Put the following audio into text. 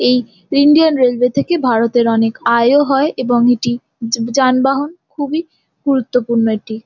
এই Indian railway থেকে ভারতের অনেক আয়ও হয় এবং এটি য- যানবাহন খুবই গুরুত্বপূর্ণ এটি ।